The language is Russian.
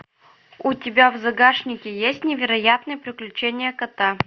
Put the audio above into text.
у тебя в загашнике есть невероятные приключения кота